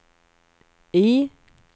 I